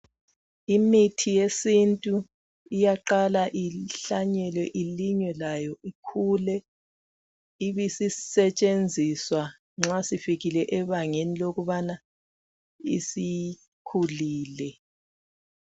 Imithi yesintu iyaqala ihlanyelwe ilinywe layo ikhule, ibisisetshenziswa nxa sifikile ebangeni lokubana isikhulile.